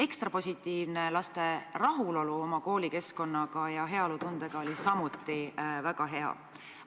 Ekstra positiivne on, et laste rahulolu oma koolikeskkonnaga ja heaolutunne olid samuti väga suured.